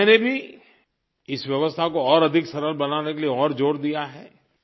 और मैंने भी इस व्यवस्था को और अधिक सरल बनाने के लिए और ज़ोर दिया है